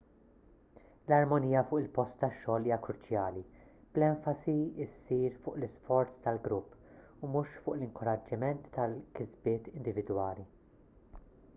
l-armonija fuq il-post tax-xogħol hija kruċjali bl-enfasi ssir fuq l-isforz tal-grupp u mhux fuq l-inkoraġġiment tal-kisbiet individwali